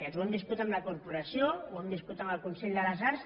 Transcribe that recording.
ho hem viscut amb la corporació ho hem viscut amb el consell de les arts